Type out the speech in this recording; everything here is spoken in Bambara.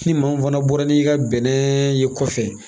Ni maa min fana bɔra n'i ka bɛnɛ ye kɔfɛ